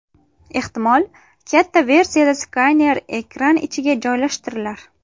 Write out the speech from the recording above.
Ehtimol, katta versiyada skaner ekran ichiga joylashtirilar.